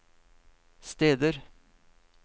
steder